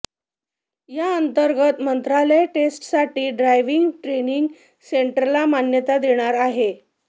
याअंतर्गत मंत्रालय टेस्टसाठी ड्रायव्हिंग ट्रेनिंग सेंटर्सला मान्यता देणार आहे